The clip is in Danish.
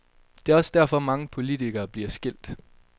Det er også derfor, mange politikere bliver skilt.